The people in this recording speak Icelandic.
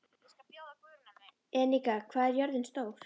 Enika, hvað er jörðin stór?